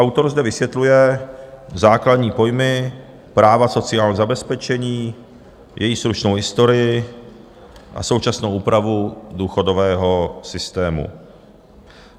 Autor zde vysvětluje základní pojmy práva sociálního zabezpečení, její stručnou historii a současnou úpravu důchodového systému.